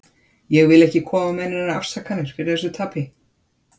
Ég vil ekki koma með neinar afsakanir fyrir þessu tapi.